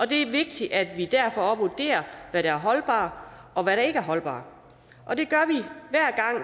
det er vigtigt at vi derfor vurderer hvad der er holdbart og ikke holdbart og det